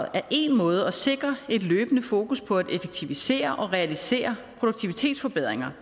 er én måde at sikre et løbende fokus på at effektivisere og realisere produktivitetsforbedringer